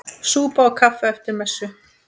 Súpa og kaffi eftir messu.